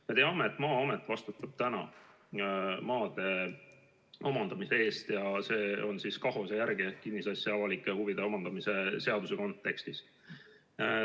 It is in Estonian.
Me teame, et Maa-amet vastutab praegu maade omandamise eest ja see käib KAHOS-e ehk kinnisasja avalikes huvides omandamise seaduse järgi.